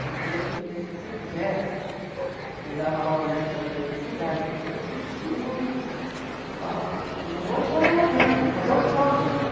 Eu falei, oi filha, se você quiser, eu dava aula na época na maioria das cidades, eu falei, eu consigo falar, não vou te botar lá dentro, tem que fazer audição para entrar.